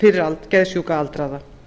fyrir geðsjúka aldraða